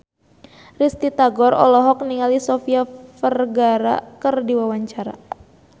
Risty Tagor olohok ningali Sofia Vergara keur diwawancara